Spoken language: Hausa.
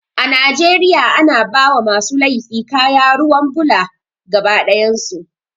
A Najeriya ana bawa masu laifi kaya ruwan bula gaba ɗayan su